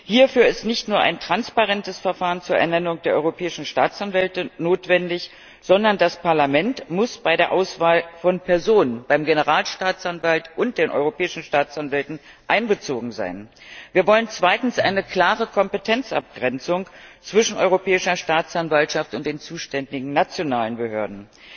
Hierfür ist nicht nur ein transparentes Verfahren zur Ernennung der Europäischen Staatsanwälte notwendig, sondern das Parlament muss bei der Auswahl von Personen beim Generalstaatsanwalt und den Europäischen Staatsanwälten einbezogen sein. Wir wollen zweitens eine klare Kompetenzabgrenzung zwischen Europäischer Staatsanwaltschaft und den zuständigen nationalen Behörden.